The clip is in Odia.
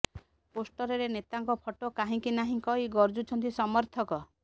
ପୋଷ୍ଟରରେ ନେତାଙ୍କ ଫଟୋ କାହିଁକି ନାହିଁ କହି ଗର୍ଜୁଛନ୍ତି ସମର୍ଥକ